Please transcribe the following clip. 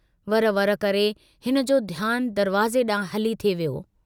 वर-वर करे हिनजो ध्यानु दरवाज़े डांहुं हली थे वियो।